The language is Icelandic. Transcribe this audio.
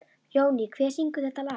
Jóný, hver syngur þetta lag?